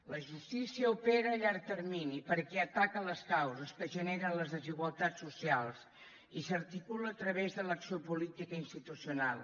la justícia opera a llarg termini perquè ataca les causes que generen les desigualtats socials i s’articula a través de l’acció política institucional